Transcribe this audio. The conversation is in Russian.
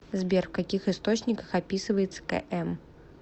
сбер в каких источниках описывается км